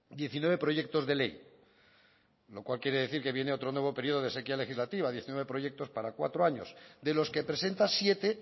diecinueve proyectos de ley lo cual quiere decir que viene otro nuevo periodo de sequía legislativa diecinueve proyectos para cuatro años de los que presenta siete